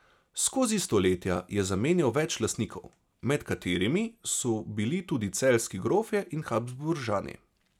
Skozi stoletja je zamenjal več lastnikov, med katerimi so bili tudi celjski grofje in Habsburžani.